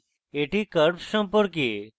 এটি curves সম্পর্কে